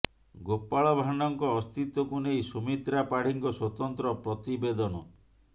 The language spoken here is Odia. ଗୋପାଳ ଭାଣ୍ଡଙ୍କ ଅସ୍ତିତ୍ୱକୁ ନେଇ ସୁମିତ୍ରା ପାଢୀଙ୍କ ସ୍ୱତନ୍ତ୍ର ପ୍ରତିବେଦନ